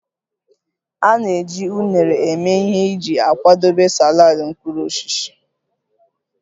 A na-eji unere eme ihe iji kwadebe saladị mkpụrụ osisi